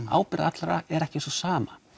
ábyrgð allra er ekki sú sama